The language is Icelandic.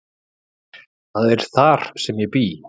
Það er þar sem ég bý.